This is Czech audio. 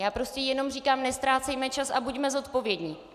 Já prostě jenom říkám, neztrácejme čas a buďme zodpovědní.